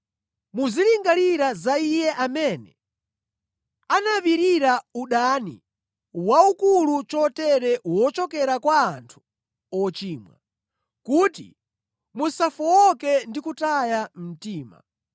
Muzilingalira za Iye amene anapirira udani waukulu chotere wochokera kwa anthu ochimwa, kuti musafowoke ndi kutaya mtima.